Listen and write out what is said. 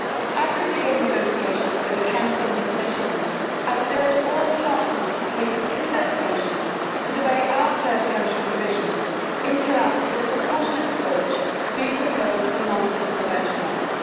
As we begin negotiations with the Council and the Commission, I would urge all parties to pay particular attention to the way our third country provisions interact, with a proportionate approach being proposed for non critical benchmarks.